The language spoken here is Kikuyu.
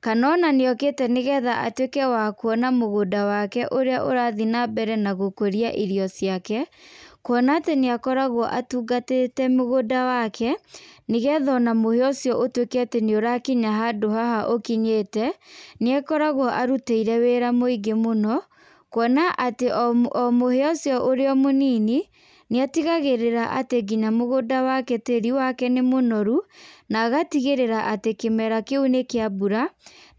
kana ona nĩ okĩte nĩgetha atuĩke wa kwona mũgũnda wake ũrĩa ũrathiĩ na mbere na gũkũria irio ciake, kwona atĩ nĩ akoragwo atungatĩte mũgũnda wake nĩgetha ona mũhĩa ũcio ũtuĩke nĩ wakinya handũ haha ũkinyĩte, nĩ akoragwo arutĩire wĩra mũingĩ mũno kwona atĩ o mũhĩa ũcio wĩ mũnini nĩ ũtigagĩrĩra atĩ tĩri wake nĩ mũnoru na agatigĩrĩra atĩ kĩmera kĩu nĩ kĩa mbura